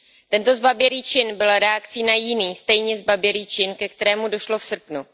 Tento zbabělý čin byl reakcí na jiný, stejně zbabělý čin, ke kterému došlo v srpnu.